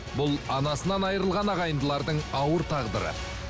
бұл анасынан айрылған ағайындылардың ауыр тағдыры